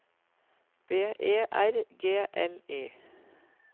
B E R G L Y